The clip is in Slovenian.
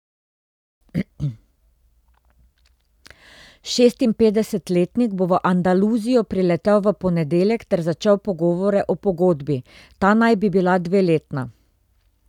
Šestinpetdesetletnik bo v Andaluzijo priletel v ponedeljek ter začel pogovore o pogodbi, ta naj bi bila dveletna.